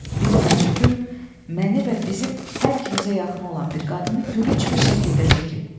Bir həcv gün məni və bizim hər ikimizə yaxın olan bir qadını gülünc bir şəkildə çəkib.